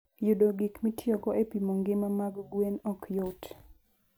Yudo gik mitiyogo e pimo ngima mag gwen ok yot.